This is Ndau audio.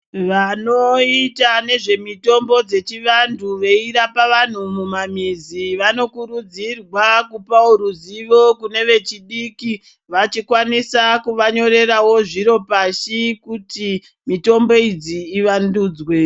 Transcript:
Vanoita nezvemitombo dzechivantu veirapa vanhu mumamizi vanokurudzirwa kupawo ruzivo kune vechidiki vachikwanisa kuvanyorerawo zviro pashi kuti mitombo idzi ivandudzwe.